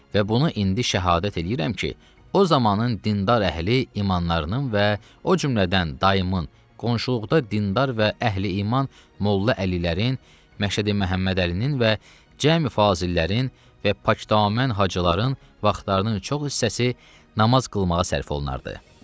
Və bunu indi şəhadət eləyirəm ki, o zamanın dindar əhli imanlarının və o cümlədən dayımın, qonşuluqda dindar və əhli iman molla əlilərin, Məşədi Məhəmməd Əlinin və Cəmi fazillərin və pakdamən hacıların vaxtlarının çox hissəsi namaz qılmağa sərf olunardı.